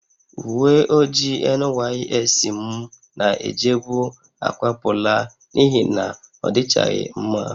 Uwe ojii NYSC m na-ejebu akwapụla n'ihi na ọ dịchaghị mma